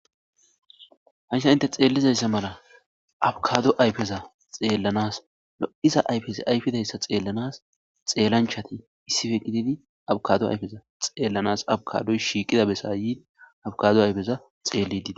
hansa inte xeellizayssa mala abkado ayfeza xeellanas lo7iza ayfes ayfidayssa xeellanas xeellanchati issife gididi abkado ayfeza xeellanas abkadoy shiiqida besaayi abkado ayfeza xeelli dii